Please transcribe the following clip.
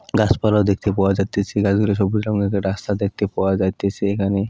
গাছপালা দেখতে পাওয়া যাইতেছে গাছগুলো সবুজ রঙের রাস্তা দেখতে পাওয়া যাইতেছে এখানে।